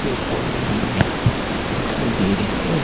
पेड़ पौधे भी यहां दिखाई दे रहे हैं।